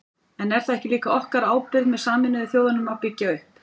En er það ekki líka okkar ábyrgð með Sameinuðu þjóðunum að byggja upp?